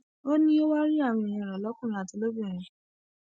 ó ní o wàá rí àwọn èèyàn rẹ lọkùnrin àti lóbìnrin àbí